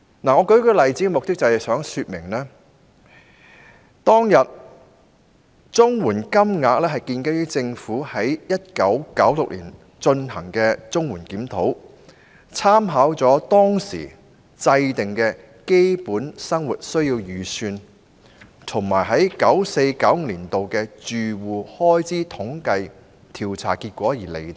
我舉例是想說明，當時的綜援金額是建基於政府在1996年進行的綜援檢討，參考了當時制訂的"基本生活需要預算"和 1994-1995 年度的住戶開支統計調查結果而釐定。